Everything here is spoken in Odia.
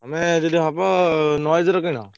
ତମେ ଯଦି ହବ Noise ର କିଣ।